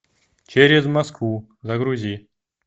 через москву загрузи